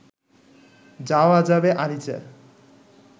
যাওয়া যাবে আরিচা